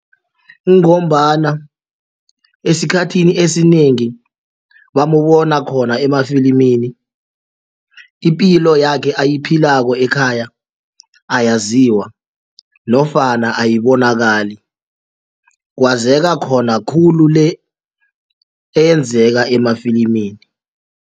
Kungombana esikhathini esinengi bamubona khona emafilimini ipilo yakhe ayiphilako ekhaya ayaziwa nofana ayibonakali kwazeka khona khulu le eyenzeka emafilimini.